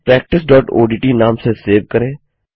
practiceओडीटी नाम से सेव करें